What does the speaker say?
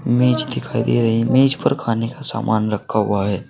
मेज दिखाई दे रही है मेज पर खाने का सामान रखा हुआ है।